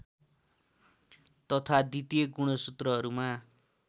तथा द्वितीय गुणसूत्रहरूमा